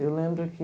Eu lembro que...